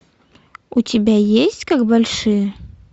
у тебя есть как большие